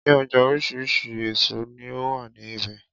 Ní ọjà oríṣi àwọn èso ní ó wà ní ibẹ̀.